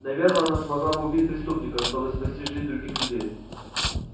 наверно она смогла бы убить преступника чтобы спасти жизнь других людей